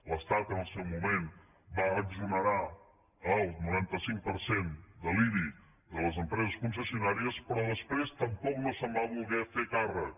l’estat en el seu moment va exonerar el noranta cinc per cent de l’ibi de les empreses concessionàries però després tampoc no se’n va voler fer càrrec